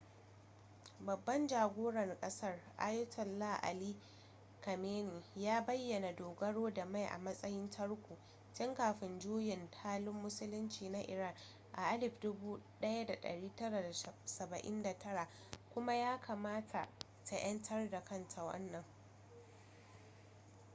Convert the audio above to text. babbab jagoran kasar ayatollah ali khamenei ya bayyana dogaro da mai a matsayin tarko tun kafin juyin juya halin musulunci na iran a 1979 kuma ya kamata ta 'yantar da kanta wannan